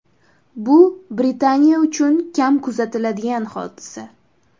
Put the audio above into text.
Bu Britaniya uchun kam kuzatiladigan hodisa.